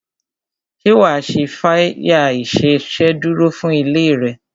Ṣé wa ṣe fire ìsedúró fún ilé rẹ?